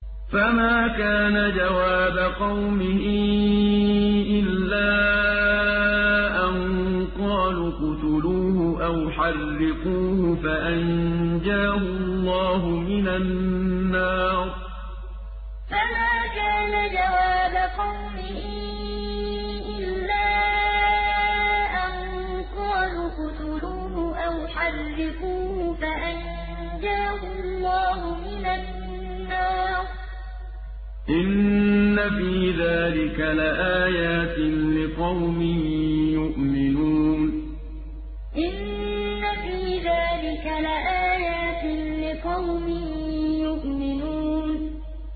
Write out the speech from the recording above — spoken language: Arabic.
فَمَا كَانَ جَوَابَ قَوْمِهِ إِلَّا أَن قَالُوا اقْتُلُوهُ أَوْ حَرِّقُوهُ فَأَنجَاهُ اللَّهُ مِنَ النَّارِ ۚ إِنَّ فِي ذَٰلِكَ لَآيَاتٍ لِّقَوْمٍ يُؤْمِنُونَ فَمَا كَانَ جَوَابَ قَوْمِهِ إِلَّا أَن قَالُوا اقْتُلُوهُ أَوْ حَرِّقُوهُ فَأَنجَاهُ اللَّهُ مِنَ النَّارِ ۚ إِنَّ فِي ذَٰلِكَ لَآيَاتٍ لِّقَوْمٍ يُؤْمِنُونَ